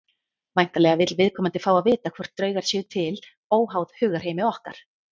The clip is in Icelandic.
Væntanlega vill viðkomandi fá að vita hvort draugar séu til óháð hugarheimi okkar.